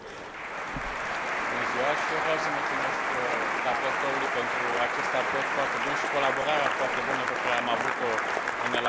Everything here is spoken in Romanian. Și eu vreau să mulțumesc raportorului pentru acest raport foarte bun și colaborarea foarte bună pe care am avut o în elaborarea acestuia.